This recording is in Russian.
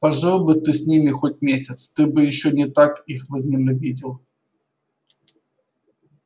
пожил бы ты с ними хоть месяц ты бы ещё не так их возненавидел